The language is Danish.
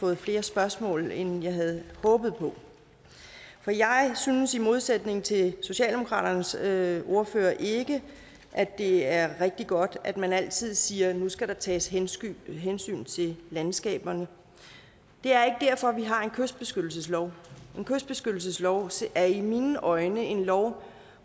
med flere spørgsmål end jeg havde håbet på jeg synes i modsætning til socialdemokratiets ordfører ikke at det er rigtig godt at man altid siger at der nu skal tages hensyn hensyn til landskaberne det er ikke derfor vi har en kystbeskyttelseslov en kystbeskyttelseslov er i mine øjne en lov